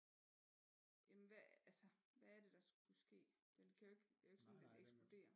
Jamen hvad altså hvad er det der skulle ske den kan jo det er jo ikke sådan den eksploderer